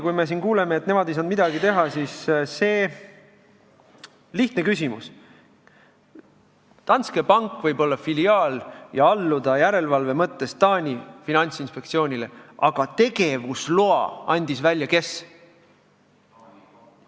Kui me siin kuuleme, et nemad ei saanud midagi teha, siis tekib lihtne küsimus: Danske pank võib olla filiaal ja alluda järelevalve mõttes Taani finantsinspektsioonile, aga tegevusloa andis välja kes?